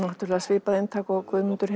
svipað eintak og Guðmundur